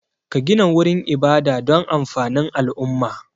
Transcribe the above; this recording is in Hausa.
Ka gina wurin ibada don amfanin al'umma